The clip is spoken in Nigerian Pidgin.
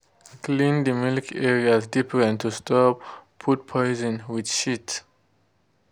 clean de milk areas different to stop food poison with shit.